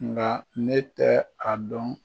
Nga ne tɛ a dɔn